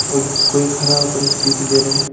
और कोई खड़ा होकर स्पीच दे रहे हैं।